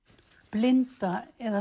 blinda eða